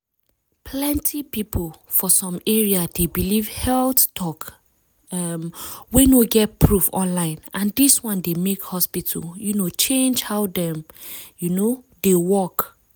plenty people for some area dey believe health talk um wey no get proof online and dis one dey make hospital um change how dem um dey work.